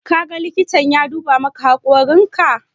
Ka ga likita ya duba maka hakorin ka?